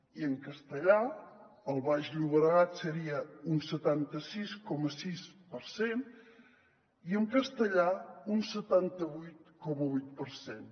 i en castellà al baix llo·bregat seria un setanta sis coma sis per cent i a catalunya central un setanta vuit coma vuit per cent